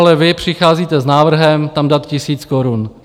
Ale vy přicházíte s návrhem tam dát tisíc korun.